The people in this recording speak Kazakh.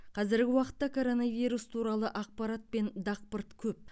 қазіргі уақытта коронавирус туралы ақпарат пен дақпырт көп